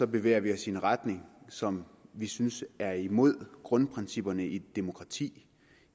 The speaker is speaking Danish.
bevæger vi os i en retning som vi synes er imod grundprincipperne i et demokrati